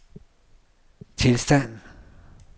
tilstand